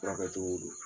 Furakɛ cogo don